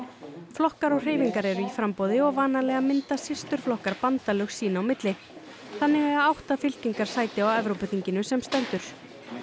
flokkar og hreyfingar eru í framboði og vanalega mynda systurflokkar bandalög sín á milli þannig eiga átta fylkingar sæti á Evrópuþinginu sem stendur